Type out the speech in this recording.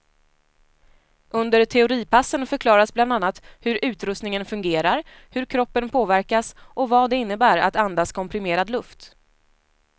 Under teoripassen förklaras bland annat hur utrustningen fungerar, hur kroppen påverkas och vad det innebär att andas komprimerad luft.